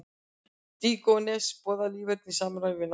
Díógenes boðaði líferni í samræmi við náttúruna.